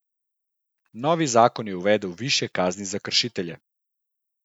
Novi zakon je uvedel višje kazni za kršitelje.